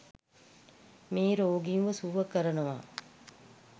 මේ රෝගීන්ව සුව කරනවා.